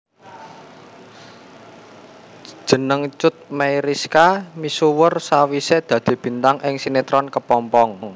Jeneng Cut Meyriska misuwur sawisé dadi bintang ing sinetron Kepompong